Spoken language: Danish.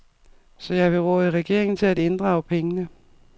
Så jeg vil råde regeringen til at inddrage pengene.